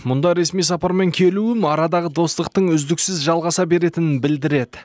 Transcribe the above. мұнда ресми сапармен келуім арадағы достықтың үздіксіз жалғаса беретінін білдіреді